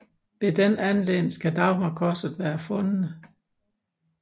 Ved den anledning skal Dagmarkorset være fundet